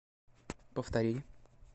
повтори